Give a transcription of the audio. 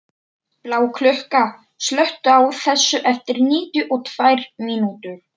Bláklukka, slökktu á þessu eftir níutíu og tvær mínútur.